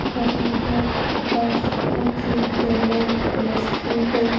हरिहर दास उच्च विद्यालय plus two है।